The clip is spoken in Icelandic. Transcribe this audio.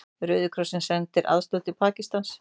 Rauði krossinn sendir aðstoð til Pakistans